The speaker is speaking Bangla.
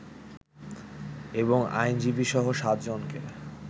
এবং আইনজীবীসহ সাতজনকে